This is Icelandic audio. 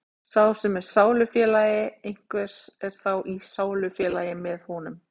sá sem er sálufélagi einhvers er þá í sálufélagi með honum